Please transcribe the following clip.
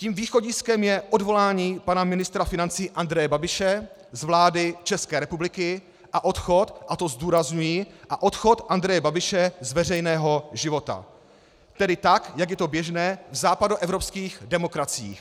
Tím východiskem je odvolání pana ministra financí Andreje Babiše z vlády České republiky a odchod - a to zdůrazňuji - a odchod Andreje Babiše z veřejného života, tedy tak jak je to běžné v západoevropských demokraciích.